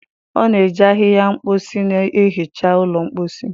Ọ na-eji ahịhịa mposi na-ehicha ụlọ mposi.